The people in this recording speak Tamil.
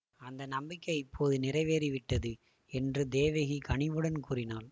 அந்த நம்பிக்கை இப்போது நிறைவேறிவிட்டது என்று தேவகி கனிவுடன் கூறினாள்